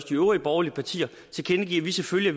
de øvrige borgerlige partier tilkendegive at vi selvfølgelig